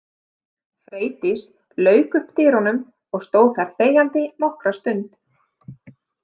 Freydís lauk upp dyrunum og stóð þar þegjandi nokkra stund.